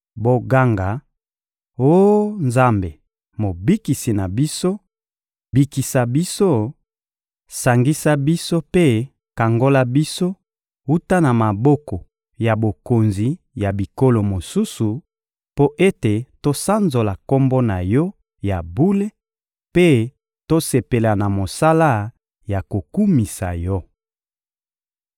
Boganga: «Oh Nzambe Mobikisi na biso, bikisa biso, sangisa biso mpe kangola biso wuta na maboko ya bokonzi ya bikolo mosusu, mpo ete tosanzola Kombo na Yo ya bule mpe tosepela na mosala ya kokumisa Yo!»